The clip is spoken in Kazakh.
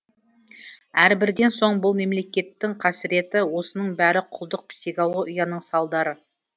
әрбірден соң бұл мемлекеттің қасыреті осының бәрі құлдық психологияның салдары